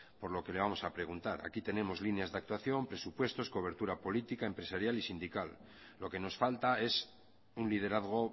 por lo que le vamos a preguntar aquí tenemos líneas de actuación presupuestos cobertura política empresarial y sindical lo que nos falta es un liderazgo